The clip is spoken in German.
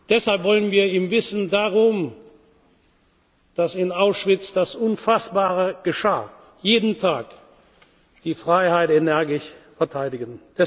Deshalb wollen wir im Wissen darum, dass in Auschwitz das Unfassbare geschah, jeden Tag die Freiheit energisch verteidigen.